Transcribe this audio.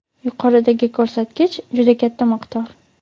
Yuqoridagi ko‘rsatkich juda katta miqdor.